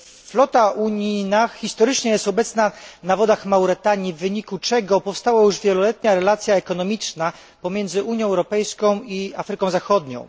Flota unijna jest historycznie obecna na wodach Mauretanii, w wyniku czego powstała już wieloletnia relacja ekonomiczna pomiędzy Unią Europejską a Afryką Zachodnią.